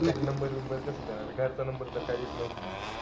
Contact number कस देणार. घरचा number तर काई देत नव्हती ती.